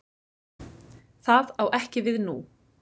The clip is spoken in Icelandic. Það á ekki við nú.